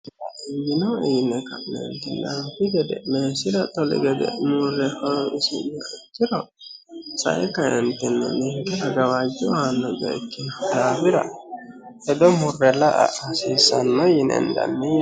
yino iine ka'neertinnroti gede meesila toli gede muurre hoo isu'mo aciro sae kaentinno ninke ragawaajjo aanno goikkino daabira hedo murre la a hasiissanno yiniendanninye